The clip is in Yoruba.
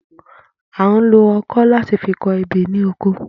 À ń lo o̩kó̩ láti fi ko̩ ebè ní oko